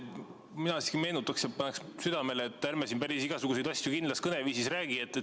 Mina siiski meenutaksin teile ja paneksin südamele, et ärme siin päris igasuguseid asju kindlas kõneviisis räägi.